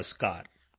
ਨਮਸਕਾਰ